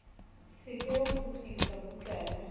se ke wa kgutlisa bukana